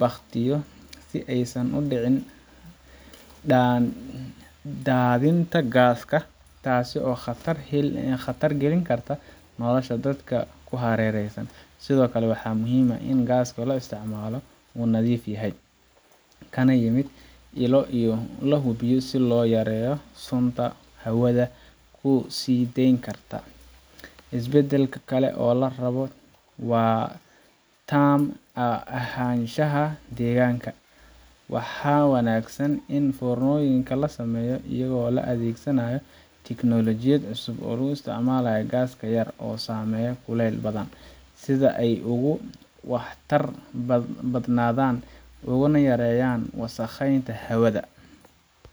bakhtiyo si aysan u dhicin daadinta gaaska, taas oo khatar gelin karta nolosha dadka ku hareeraysan. Sidoo kale, waxaa muhiim ah in gaaska la isticmaalo uu nadiif yahay, kana yimid ilo la hubiyay si loo yareeyo sunta hawada ku sii deyn karta. Isbeddel kale oo la rabo waa taam ahaanshaha deegaanka. Waxaa wanaagsan in foornooyinka la sameeyo iyadoo la adeegsanayo tiknoolajiyad cusub oo isticmaasha gaas yar oo sameeya kuleyl badan, si ay uga waxtar badnaadaan una yareeyaan wasakheynta hawada.